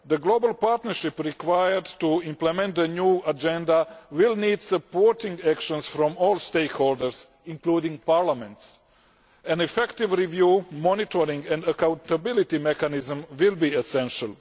The global partnership required to implement the new Agenda will need supporting actions from all stakeholders, including Parliament's. An effective review, monitoring and accountability mechanism will be essential.